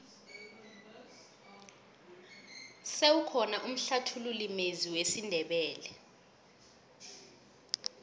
sewukhona umhlathululi mezwi wesindebele